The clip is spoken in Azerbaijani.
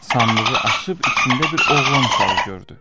Sandığı açıb içində bir oğlan uşağı gördü.